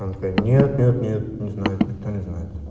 нет-нет-нет не знает никто не знает